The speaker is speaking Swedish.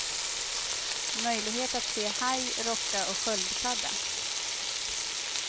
Möjlighet att se haj, rocka och sköldpadda.